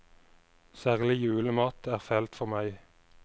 Særlig julemat er fælt for meg.